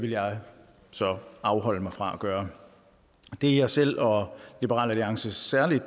vil jeg så afholde mig fra at gøre det jeg selv og liberal alliance særlig